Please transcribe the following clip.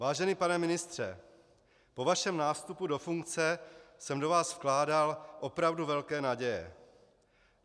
Vážený pane ministře, po vašem nástupu do funkce jsem do vás vkládal opravdu velké naděje.